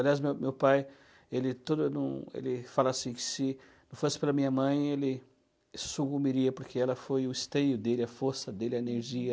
Aliás, meu meu pai, ele todo não, ele fala assim que se não fosse pela minha mãe, ele sumiria, porque ela foi o esteio dele, a força dele, a energia.